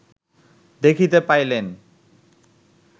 দেখিতে পাইলেন